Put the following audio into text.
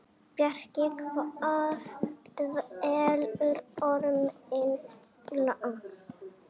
Bjarki, hvað dvelur Orminn langa?